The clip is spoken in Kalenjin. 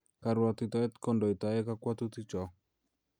Karuatitoet ko ndoitae kakwoutik cho